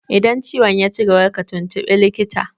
Idan ciwon yaci gaba ka tuntuɓi likita!